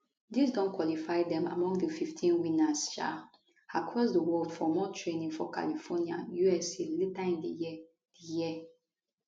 dis don qualify dem among di 15 winners um across di world for more training for california usa later in di year di year